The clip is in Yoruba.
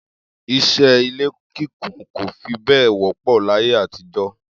Is̩é̩ ilé kíkùn kò fi bé̩è̩ wó̩pò̩ láyé àtijó̩